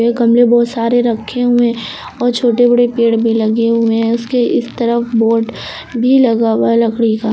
गमले बहुत सारे रखे हुए हैं और छोटे बड़े पेड़ भी लगे हुए हैं उसके इस तरफ बोर्ड भी लगा हुआ है लकड़ी का।